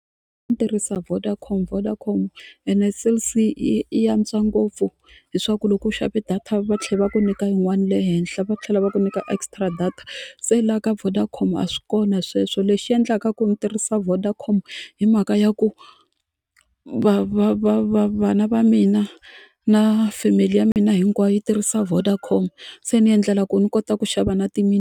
Ni tirhisa Vodacom, Vodacom ene Cell C yi yi antswa ngopfu leswaku loko u xave data va tlhela va ku nyika yin'wana le henhla va tlhela va ku nyika extra data se la ka Vodacom a swi kona sweswo lexi endlaka ku ni tirhisa Vodacom hi mhaka ya ku va va va va vana va mina na family ya mina hinkwayo yi tirhisa Vodacom se ni endlela ku ni kota ku xava na ti .